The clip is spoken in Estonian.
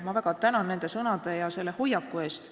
Ma väga tänan nende sõnade ja selle hoiaku eest.